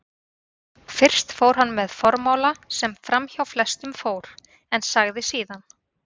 Fyrst fór hann með formála sem framhjá flestum fór, en sagði síðan